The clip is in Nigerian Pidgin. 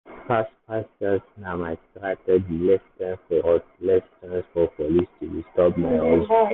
fast-fast sales na my strategy less time for road less chance for police to disturb my hustle.